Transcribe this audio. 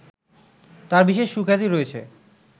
তাঁর বিশেষ সুখ্যাতি রয়েছে